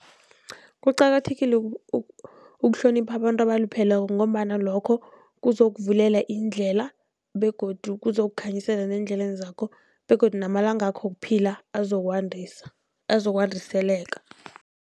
Kuqakathekile ukuhlonipha abantu abalupheleko, ngombana lokho kuzokuvulela iindlela begodu kuzokukhanyisela neendleleni zakho begodu namalanga wakho wokuphila azokwandisa azokwandiseleka.